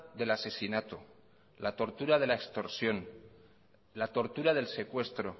del asesinato la tortura de la extorsión la tortura del secuestro